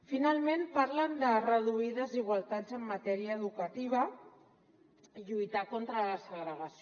finalment parlen de reduir desigualtats en matèria educativa i lluitar contra la segregació